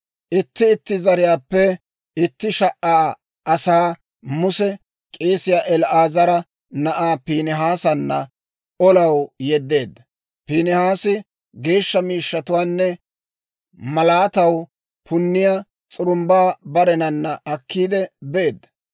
Itti itti zariyaappe itti sha"a asaa Muse k'eesiyaa El"aazara na'aa Piinihaasanna olaw yeddeedda; Piinihaasi geeshsha miishshatuwaanne malaataw punniyaa s'urumbbaa barenana akkiide beedda.